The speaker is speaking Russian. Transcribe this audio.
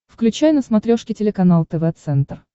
включай на смотрешке телеканал тв центр